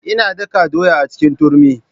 Ina daka ɗoya a cikin turmi.